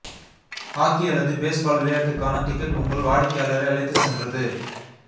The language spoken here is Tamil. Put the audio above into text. ஹாக்கி அல்லது பேஸ்பால் விளையாட்டுக்கான டிக்கெட் உங்கள் வாடிக்கையாளரை அழைத்துச் சென்றது